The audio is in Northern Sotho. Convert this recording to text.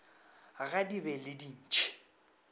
ga di be le dintšhi